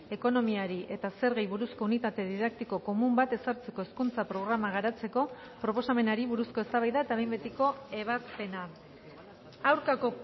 ekonomiari eta zergei buruzko unitate didaktiko komun bat ezartzeko hezkuntza programa garatzeko proposamenari buruzko eztabaida eta behin betiko ebazpena aurkako